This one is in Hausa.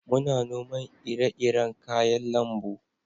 muna noman ire-iren kayan lambu